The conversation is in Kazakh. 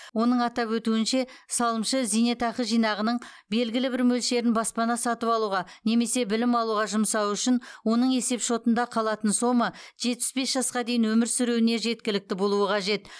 оның атап өтуінше салымшы зейнетақы жинағынының белгілі бір мөлшерін баспана сатып алуға немесе білім алуға жұмсауы үшін оның есепшотында қалатын сома жетпіс бес жасқа дейін өмір сүруіне жеткілікті болуы қажет